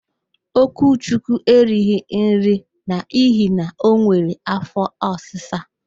Okwuchi erighi nri n'ihi na o nwere áfọ́ ọsịsa.